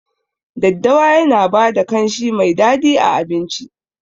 Daddawa Yana bada kanshi Mai dadi a abinci.